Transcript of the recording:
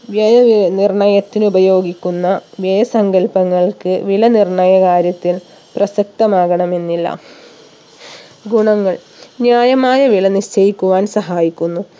വ്യയ അഹ് നിർണയത്തിന് ഉപയോഗിക്കുന്ന വ്യയ സങ്കൽപ്പങ്ങൾക്ക് വില നിർണയ കാര്യത്തിൽ പ്രസക്തമാകണമെന്നില്ല ഗുണങ്ങൾ ന്യായമായ വില നിശ്ചയിക്കുവാൻ സഹായിക്കുന്നു